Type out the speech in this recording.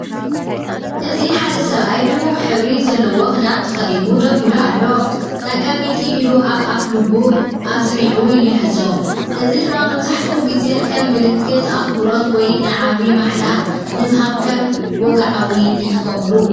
እዚ ሓደ ሰብኣይ ድሙቕ ሕብሪ ዘለዎ ክዳን ተኸዲኑ ደው ኢሉ ኣሎ። ጸጋመይቲ ኢዱ ኣብ ኣፍልቡ ኣጽኒዑ ይሕዞ፣ እዚ ድማ መብዛሕትኡ ግዜ ከም ምልክት ኣኽብሮት ወይ ንዓቢ ማሕላ ንምሃብ ከም ወግዓውነት ይጥቀመሉ።